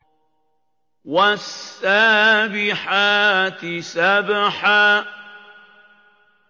وَالسَّابِحَاتِ سَبْحًا